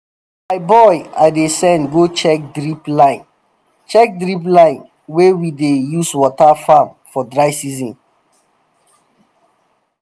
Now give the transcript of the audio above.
my boy i dey send go check drip line check drip line wey we dey use water farm for dry season